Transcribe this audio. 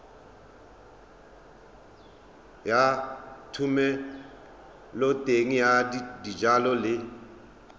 ya thomeloteng ya dijalo le